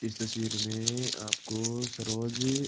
इस तस्वीर में आपको सरोज --